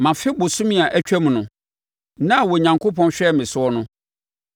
“Mafe abosome a atwam no, nna a Onyankopɔn hwɛɛ me soɔ no,